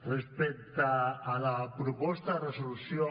respecte a la proposta de resolució